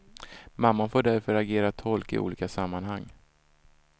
Mamman får därför agera tolk i olika sammanhang.